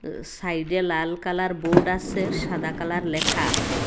সাইডে লাল colour board আসে সাদা কালার লেখা আসে।